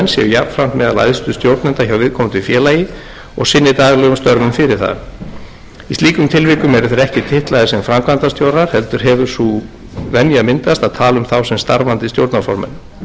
jafnframt meðal æðstu stjórnenda hjá viðkomandi félagi og sinni daglegum störfum fyrir það í slíkum tilvikum eru þeir ekki titlaðir sem framkvæmdastjórar heldur hefur myndast sú venja að tala um þá sem starfandi stjórnarformenn